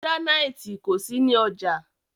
Gíránítì kò sí ní ọjà.